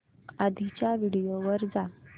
आधीच्या व्हिडिओ वर जा